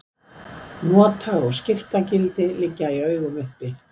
nota og skiptagildi liggja í augum uppi